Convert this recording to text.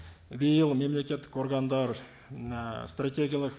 биыл мемлекеттік органдар і стратегиялық